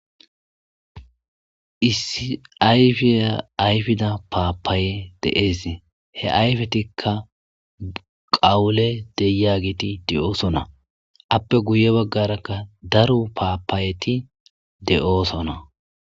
isi ayfiya ayfida paapaaye deees he ayfetikka qawule deya giti de7oosona appe guye baggarakka daro paapaayeti de7oosona